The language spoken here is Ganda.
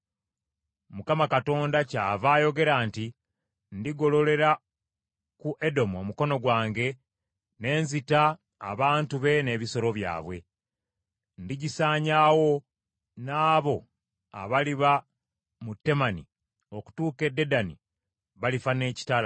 Mukama Katonda kyava ayogera nti, Ndigololera ku Edomu omukono gwange, ne nzita abantu be n’ebisolo byabwe. Ndigisaanyaawo, n’abo abaliba mu Temani okutuuka e Dedani balifa ekitala.